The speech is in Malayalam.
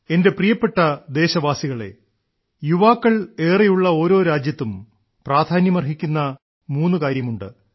എന്റെ പ്രിയപ്പെട്ട ദേശവാസികളേ യുവാക്കൾ ഏറെയുള്ള ഓരോ രാജ്യത്തും പ്രാധാന്യമർഹിക്കുന്ന മൂന്നുകാര്യമുണ്ട്